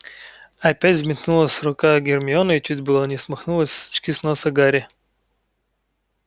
опять взметнулась рука гермионы и чуть было не смахнула очки с носа гарри